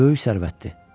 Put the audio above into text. Böyük sərvətdir.